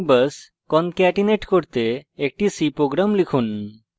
string best এবং string bus concatenate করতে একটি c program লিখুন